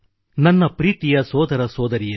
ನನ್ನ ಪ್ರೀತಿಯ ಸೋದರಸೋದರಿಯರೆ